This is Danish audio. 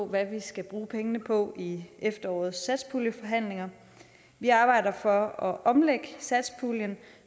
hvad vi skal bruge pengene på i efterårets satspuljeforhandlinger vi arbejder for at omlægge satspuljen